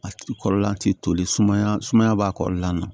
A ti kɔlɔlɔ lati toli sumaya sumaya b'a kɔrɔla na